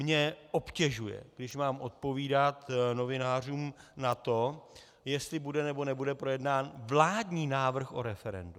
Mě obtěžuje, když mám odpovídat novinářům na to, jestli bude, nebo nebude projednán vládní návrh o referendu.